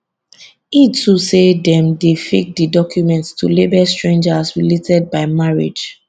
e too say dem dey fake di documents to label strangers as related by marriage